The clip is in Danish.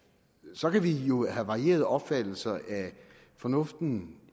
så kan vi jo have varierede opfattelser af fornuften